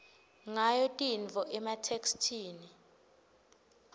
ngayo tintfo ematheksthini